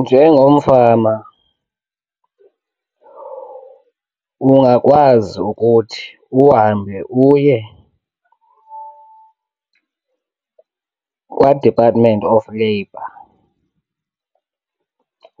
Njengomfama ungakwazi ukuthi uhambe uye kwaDepartment of labor